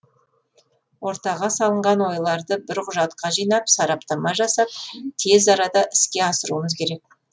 ортаға салынған ойларды бір құжатқа жинап сараптама жасап тез арада іске асыруымыз керек